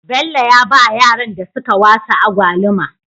Bello ya bawa yaran da suka wasa agwaluma